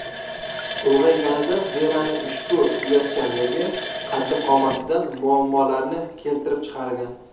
Ulg‘ayganida Veraning ushbu uyatchanligi qaddi-qomatida muammolarni keltirib chiqargan.